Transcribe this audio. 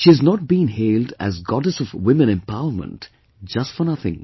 She has not been hailed as Goddess of women empowerment just for nothing